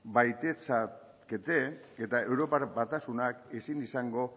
eta europar batasunak ezin izango